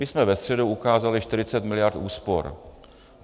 My jsme ve středu ukázali 40 mld. úspor.